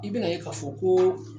I bɛ na ye ka fɔ ko